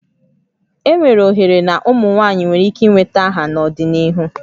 Enwere ohere na ụmụ nwanyị nwere ike nweta aha n'ọdịnihu